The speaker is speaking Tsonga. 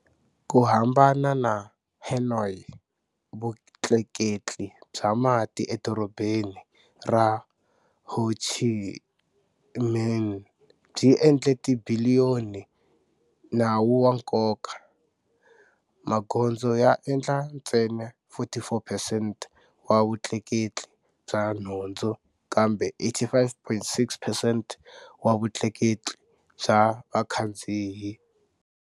Ku hambana na Hanoi, vutleketli bya mati eDorobeni ra Ho Chi Minh byi endla tibiliyoni nawu wa nkoka. Magondzo ya endla ntsena 44 percent wa vutleketli bya nhundzu kambe 85.6percent wa vutleketli bya vakhandziyi.